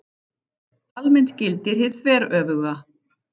Almennt gildir hið þveröfuga.